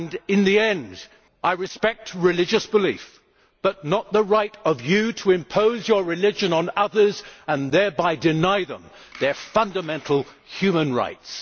In the end, I respect religious belief, but not the right of you to impose your religion on others and thereby deny them their fundamental human rights.